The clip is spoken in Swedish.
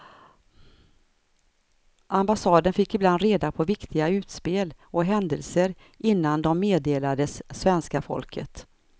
Ambassaden fick ibland reda på viktiga utspel och händelser innan de meddelades svenska folket.